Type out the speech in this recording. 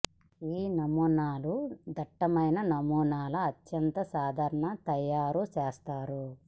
ఈ నమూనాలు అన్ని దట్టమైన నమూనాల అత్యంత సాధారణ తయారు చేస్తారు